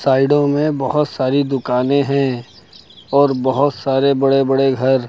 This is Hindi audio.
साइडों में बहुत सारी दुकानें हैं और बहुत सारे बड़े बड़े घर।